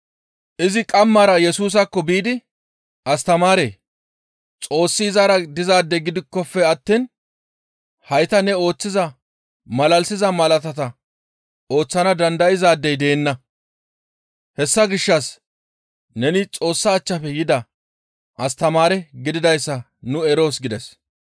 Izi qamara Yesusaakko biidi, «Astamaaree! Xoossi izara dizaade gidikkofe attiin hayta ne ooththiza malalisiza malaatata ooththana dandayzaadey deenna; hessa gishshas neni Xoossa achchafe yida astamaare gididayssa nu eroos» gides.